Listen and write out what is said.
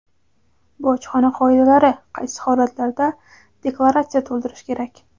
Bojxona qoidalari: Qaysi holatlarda deklaratsiya to‘ldirish kerak?.